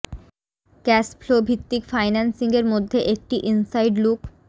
cash flow ভিত্তিক financing এর মধ্যে একটি ইনসাইড লুক